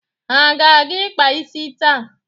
Ha ga-aga ịkpa isi taa.